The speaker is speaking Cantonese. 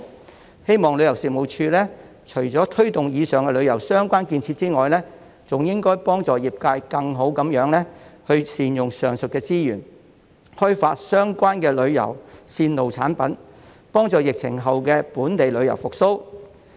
我希望旅遊事務署除了推動以上旅遊相關建設外，還應幫助業界更好地善用上述資源，開發相關旅遊線路產品，以助疫情後的本地旅遊復蘇。